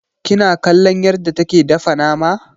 Kina kallon yarda take dafa nama?